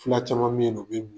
Fula caman bɛ yen u bɛ